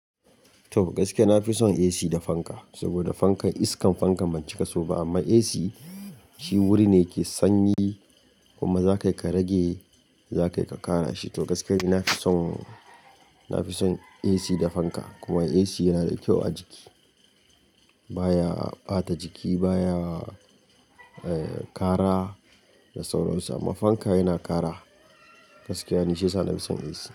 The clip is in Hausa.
To gaskiya na fi son AC da fanka, saboda fankan iskan fankan ban cika so ba amma AC shi wuri ne ke sanyi kuma za ka yi ka rage, za ka yi ka ƙara shi. To gaskiya ni nafi son, na fi son AC da fanka kuma AC yana da kyau a jiki. Ba ya ɓata jiki, baya ƙara da sauran su amma fanka yana ƙara. Gaskiya ni shiyasa na fi son AC.